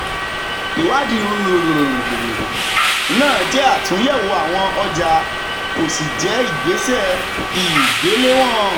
ìwádìí náà jẹ́ àtúnyẹ̀wò àwọn ọjà kò sì jẹ́ ìgbésẹ̀ igbelewon.